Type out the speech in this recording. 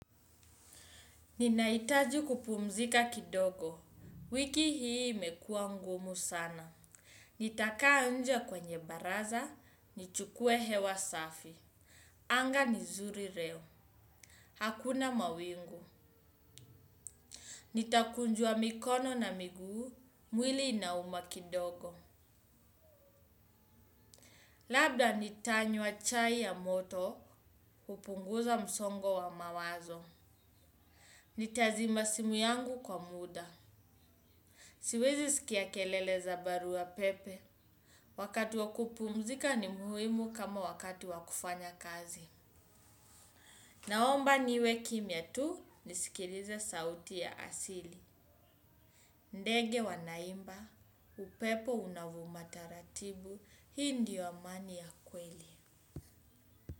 Ninahitaji kupumzika kidogo. Wiki hii imekua ngumu sana. Nitakaa nje kwenye baraza, nichukue hewa safi. Anga ni nzuri leo. Hakuna mawingu. Nitakunjua mikono na miguu, mwili inauma kidogo. Labda nitanywa chai ya moto, kupunguza msongo wa mawazo. Nitazima simu yangu kwa muda. Siwezi sikia kelele za barua pepe. Wakati wa kupumzika ni muhimu kama wakati wa kufanya kazi. Naomba niwe kimya tu nisikilize sauti ya asili. Ndege wanaimba, upepo unavuma taratibu, hii ndio amani ya kweli.